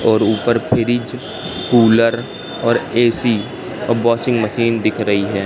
और ऊपर fridge cooler और ए_सी और वॉशिंग मशीन दिख रही हैं।